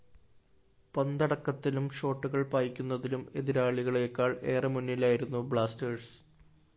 പന്തടക്കത്തിലും ഷോട്ടുകള്‍ പായിക്കുന്നതിലും എതിരാളികളേക്കാള്‍ ഏറെ മുന്നിലായിരുന്നു ബ്ലാസ്റ്റേഴ്സ്‌